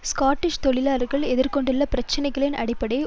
Scottish தொழிலாளர்கள் எதிர் கொண்டுள்ள பிரச்சினைகளின் அடிப்படை